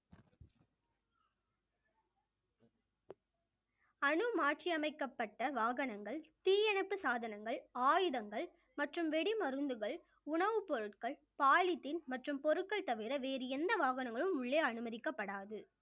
மாற்றியமைக்கப்பட்ட வாகனங்கள் தீயணைப்பு சாதனங்கள் ஆயுதங்கள் மற்றும் வெடிமருந்துகள், உணவுப் பொருட்கள் polythene மற்றும் பொருட்கள் தவிர வேறு எந்த வாகனங்களும் உள்ளே அனுமதிக்கப்படாது